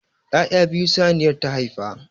Ya'ya biyu saniyar ta haifa.